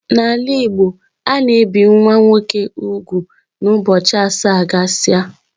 N'ala Igbo ana ebi nwa nwoke úgwù na ụbọchị asaa gasia